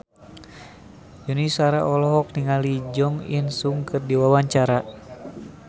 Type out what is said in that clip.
Yuni Shara olohok ningali Jo In Sung keur diwawancara